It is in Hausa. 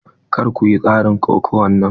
Kar ku yi tsarin kokawan nan!